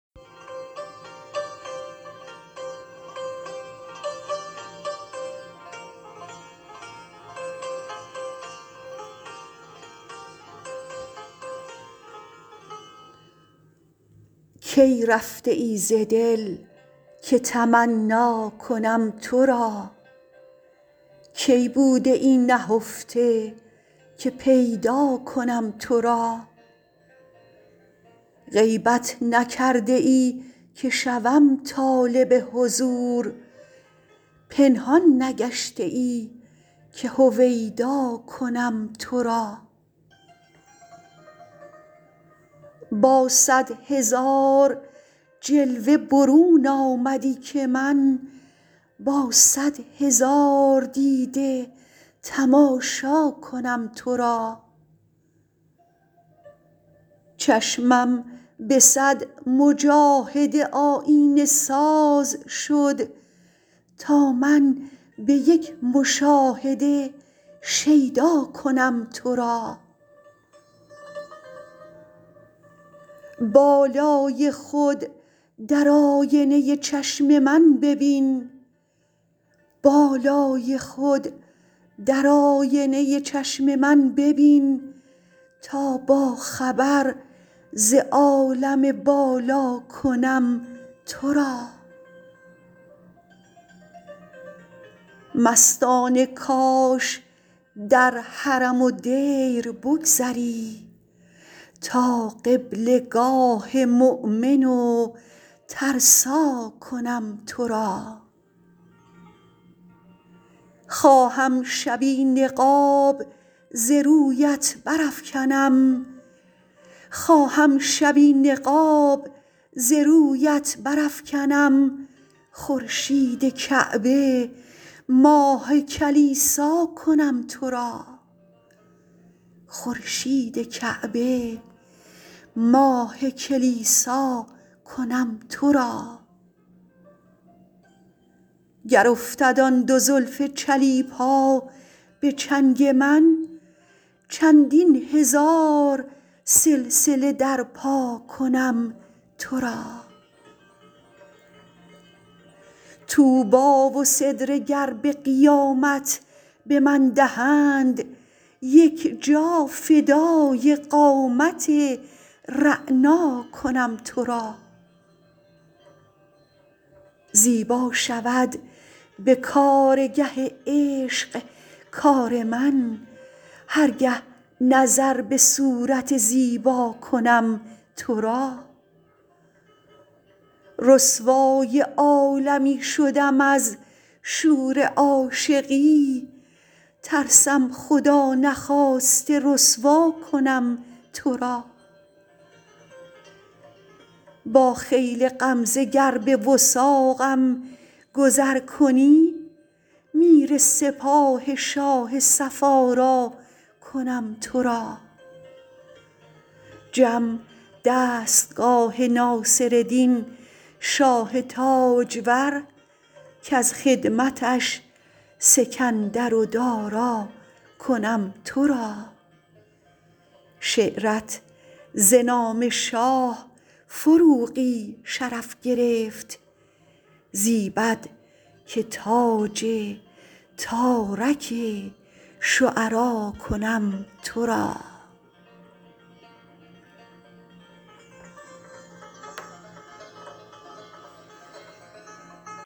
کی رفته ای ز دل که تمنا کنم تو را کی بوده ای نهفته که پیدا کنم تو را غیبت نکرده ای که شوم طالب حضور پنهان نگشته ای که هویدا کنم تو را با صد هزار جلوه برون آمدی که من با صد هزار دیده تماشا کنم تو را چشمم به صد مجاهده آیینه ساز شد تا من به یک مشاهده شیدا کنم تو را بالای خود در آینه چشم من ببین تا با خبر ز عالم بالا کنم تو را مستانه کاش در حرم و دیر بگذری تا قبله گاه مؤمن و ترسا کنم تو را خواهم شبی نقاب ز رویت برافکنم خورشید کعبه ماه کلیسا کنم تو را گر افتد آن دو زلف چلیپا به چنگ من چندین هزار سلسله در پا کنم تو را طوبی و سدره گر به قیامت به من دهند یک جا فدای قامت رعنا کنم تو را زیبا شود به کارگه عشق کار من هر گه نظر به صورت زیبا کنم تو را رسوای عالمی شدم از شور عاشقی ترسم خدا نخواسته رسوا کنم تو را با خیل غمزه گر به وثاقم گذر کنی میر سپاه شاه صف آرا کنم تو را جم دستگاه ناصردین شاه تاجور کز خدمتش سکندر و دارا کنم تو را شعرت ز نام شاه فروغی شرف گرفت زیبد که تاج تارک شعرا کنم تو را